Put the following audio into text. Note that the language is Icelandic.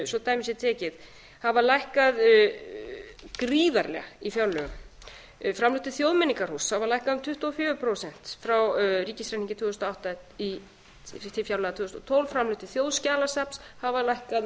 dæmi sé tekið hafa lækkað gríðarlega í fjárlögum framlög til þjóðmenningarhúss hafa lækkað um tuttugu og fjögur prósent frá ríkisreikningi tvö þúsund og átta til fjárlaga tvö þúsund og tólf framlög til þjóðskjalasafns hafa lækkað um